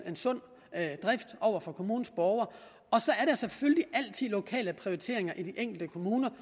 sund drift over for kommunens borgere og selvfølgelig altid nogle lokale prioriteringer i de enkelte kommuner